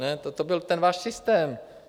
Ne, toto byl ten váš systém.